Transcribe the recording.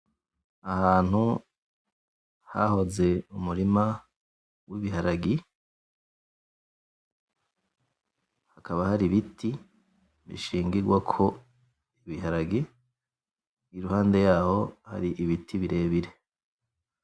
Ahantu hahoze umurima w'ibiharage hakaba hari ibiti bishingigwako ibiharagi iruhande yaho hari ibiti birebire.